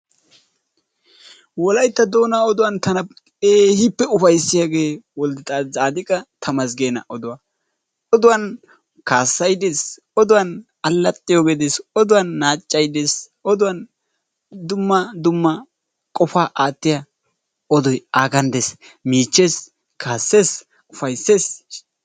Wolaytta doonaa oduwaan tana keehippe upayssiyaagee woldetsaadiqqa temesggeena oduwaa. Oduwaan kaassay dees. Oduwaan allaxxiyogee dees. Oduwaan naachchay dees. Oduwaan dumma dumma qofaa aattiyaa oodoy aagan dees. Miichchees, kaassees, ufayssees .